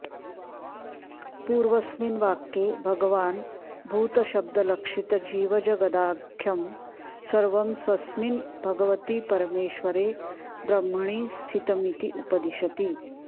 पूर्वस्मिन् वाक्ये भगवान् भूतशब्दलक्षितजीवजगदाख्यं सर्वं स्वस्मिन् भगवति परमेश्वरे बह्मणि स्थितमिति उपदिशति